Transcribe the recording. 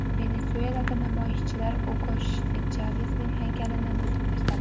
Venesuelada namoyishchilar Ugo Chavesning haykalini buzib tashladi.